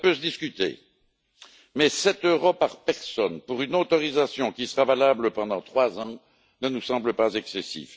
Cela peut se discuter, mais 7 euros par personne pour une autorisation qui sera valable pendant 3 ans ne nous semble pas excessif.